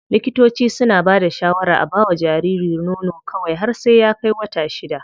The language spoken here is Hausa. Likitoci suna bada shawarar a bawa jariri nono kawai har sai ya kai wata shida.